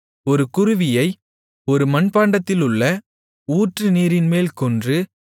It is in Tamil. ஒரு குருவியை ஒரு மண்பாண்டத்திலுள்ள ஊற்றுநீரின்மேல் கொன்று